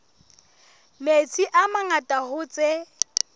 metsi a mangata hoo tse